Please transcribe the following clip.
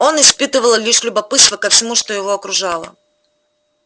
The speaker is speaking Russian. он испытывал лишь любопытство ко всему что его окружало